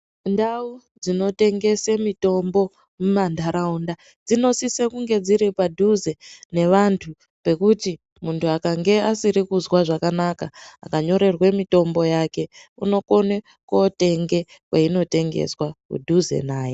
Ndau dzinotengese mitombo mumantaraunda dzinosise kunge dziri padhuze nevantu pekuti muntu akange asiri kuzwa zvakanaka akanyorerwa mitombo yake unokone kotenga kwainotengeswa kudhuze naye.